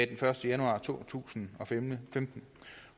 den første januar to tusind og femten